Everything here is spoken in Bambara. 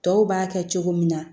Tɔw b'a kɛ cogo min na